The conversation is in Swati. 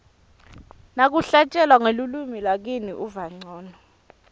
nakuhlatjelwa ngelulwimi lakini uva ncono